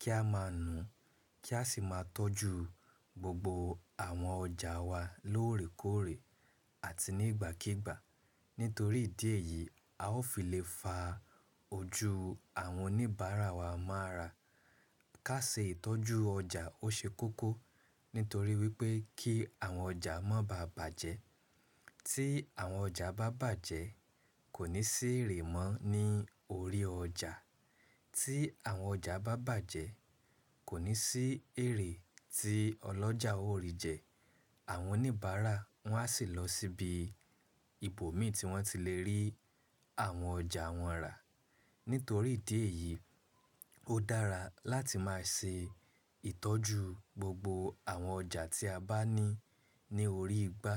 kí a máa nu kí a sì máa tọ́jú gbogbo àwọn ọjà wa lóòrèkóòrè àti ní ìgbàkíigbà. Nítorí ìdí èyí a ó fi lè fa ojú àwọn oníbàárà wa máa ara. Ká ṣe ìtọ́jú ọjà ó ṣe kókó, nítorí wípé kí àwọn ọjà mo bà bàjẹ́. Tí àwọn ọjà bá bàjẹ́, kò ní sí èrè mọ́ ní orí ọjà. Tí àwọn ọjà bá bàjẹ́, kò ní sí èrè tí ọlọ́jà ó rì jẹ. Àwọn oníbàárà wọn á sì lọ síbi ibòmií tí wọ́n ti lè rí àwọn ọjà wọn rà. Nítorí ìdí èyí, ó dára láti máa ṣe ìtọ́jú gbogbo àwọn ọjà tí a bá ní ní orí igbá.